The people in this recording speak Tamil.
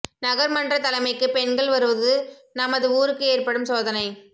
நகர்மன்ற தலைமைக்கு பெண்கள் வருவது நமது ஊருக்கு ஏற்ப்படும் சோதனை